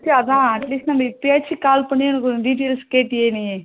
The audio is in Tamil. அதான் at least இப்பயாச்சும் call பண்ணி details கேட்டாயே நீ